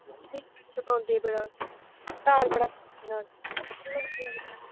ਸਤਾਉਂਦੇ ਬੜਾ ਘਰ ਬੜਾ